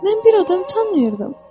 Mən bir adam tanıyırdım.